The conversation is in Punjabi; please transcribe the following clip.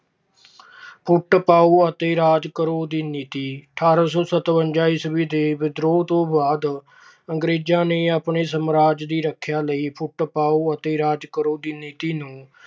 ਫੁੱਟ ਪਾਉ ਅਤੇ ਰਾਜ ਕਰੋ ਦੀ ਨੀਤੀ- ਅਠਾਰਾਂ ਸੌ ਸਤਵੰਜਾ ਈਸਵੀ ਦੇ ਵਿਦਰੋਹ ਤੋਂ ਬਾਅਦ ਅੰਗਰੇਜਾਂ ਨੇ ਆਪਣੇ ਸਾਮਰਾਜ ਦੀ ਸੁਰੱਖਿਆ ਲਈ ਫੁੱਟ ਪਾਉ ਅਤੇ ਰਾਜ ਕਰੋ ਦੀ ਨੀਤੀ ਨੂੰ